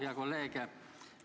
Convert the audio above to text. Hea kolleeg!